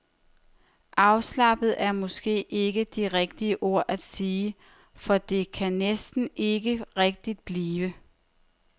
Afslappet er måske ikke det rigtige ord at sige, for det kan det næsten ikke rigtig blive.